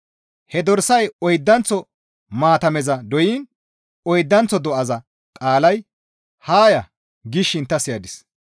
He dorsay oydanththo maatameza doyiin oydanththo do7aza qaalay, «Haa ya!» gishin ta siyadis.